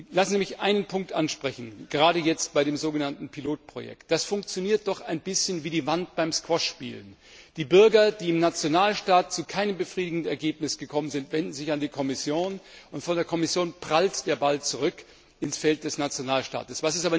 Ich möchte einen speziellen Punkt ansprechen, gerade jetzt, beim so genannten Pilotprojekt. Das funktioniert doch ein bisschen wie die Wand beim Squashspielen. Die Bürger, die im Nationalstaat zu keinem befriedigenden Ergebnis gekommen sind, wenden sich an die Kommission, und von der Kommission prallt der Ball zurück ins Feld des Nationalstaates.